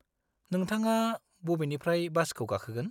नोंथाङा बबेनिफ्राय बासखौ गाखोगोन?